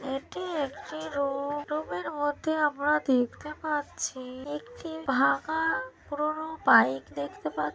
এটি একটি room room -এর মধ্যে আমরা দেখতে পাচ্ছি একটি ভাঙ্গা পুরোনো বাইক দেখতে পাচ্ছ--